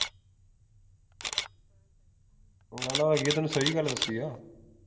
ਮੈਂ ਨਾ ਵੈਸੇ ਤੈਨੂੰ ਸਹੀ ਗੱਲ ਦੱਸੀ ਆ